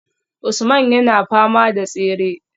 Usman yana fama da tsere